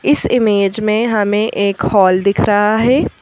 इस इमेज में हमें एक हॉल दिख रहा है।